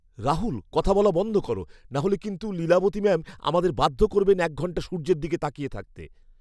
রাহুল! কথা বলা বন্ধ করো, নাহলে কিন্তু লীলাবতী ম্যাম আমাদের বাধ্য করবেন এক ঘন্টা সূর্যের দিকে তাকিয়ে থাকতে।